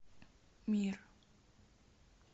мир